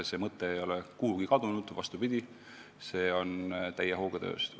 See mõte ei ole kuhugi kadunud, vastupidi, see on täie hooga töös.